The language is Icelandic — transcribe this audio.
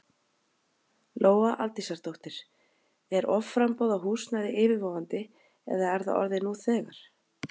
Lóa Aldísardóttir: Er offramboð á húsnæði yfirvofandi eða er það orðið nú þegar?